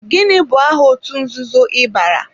Gịnị bụ aha otú nzuzo ị bara?